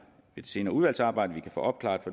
et senere udvalgsarbejde kan opklare